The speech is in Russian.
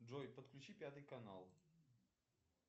джой подключи пятый канал